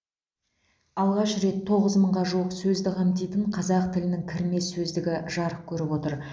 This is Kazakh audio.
алғаш рет тоғыз мыңға жуық сөзді қамтитын қазақ тілінің кірме сөздер сөздігі жарық көріп отыр